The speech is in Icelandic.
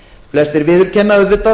flestir viðurkenna auðvitað